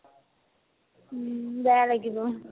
উম্, বেয়া লাগিব